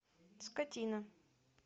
скотина